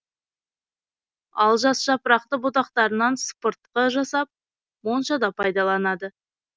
ал жас жапырақты бұтақтарынан сыпыртқы жасап моншада пайдаланады